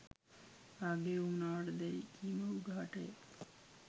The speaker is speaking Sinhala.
කාගේ වුවමනාවට දැ'යි කීම උගහට ය.